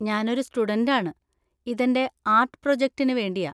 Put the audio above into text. ഞാനൊരു സ്റ്റുഡന്‍റ് ആണ്, ഇതെൻ്റെ ആർട്ട് പ്രൊജക്ടിന് വേണ്ടിയാ.